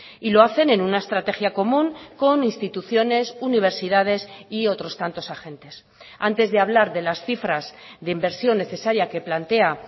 y lo hacen en una estrategia común con instituciones universidades y otros tantos agentes antes de hablar de las cifras de inversión necesaria que plantea